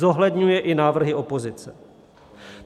Zohledňuje i návrhy opozice.